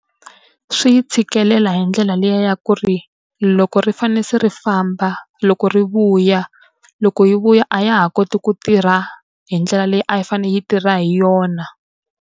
Swi tshikelela hi ndlela liya ya ku ri, loko ri fanele se ri famba loko ri vuya, loko yi vuya a ya ha koti ku tirha hi ndlela leyi a yi fanele yi tirha hi yona.